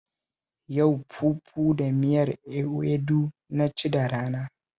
Yau fufu da miyar ewedu na ci da rana